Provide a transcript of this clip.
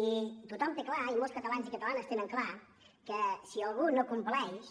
i tothom té clar i molts catalans i catalanes tenen clar que si algú no compleix